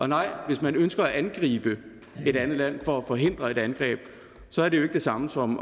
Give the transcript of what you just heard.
nej hvis man ønsker at angribe et andet land for at forhindre et angreb så er det jo ikke det samme som